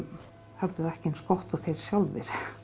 höfðu það ekki eins gott og þeir sjálfir